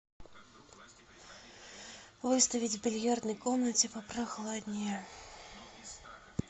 выставить в бильярдной комнате попрохладнее